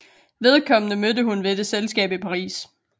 Vedkommende mødte hun ved et selskab i Paris